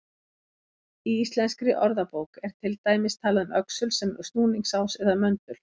Í Íslenskri orðabók er til dæmis talað um öxul sem snúningsás eða möndul.